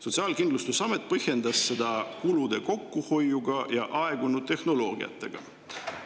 Sotsiaalkindlustusamet põhjendas seda kulude kokkuhoiuga ja aegunud tehnoloogiatega.